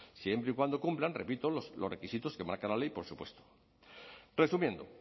siempre y cuando cumplan repito los requisitos que marca la ley por supuesto resumiendo